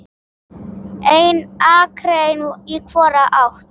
Ein akrein í hvora átt.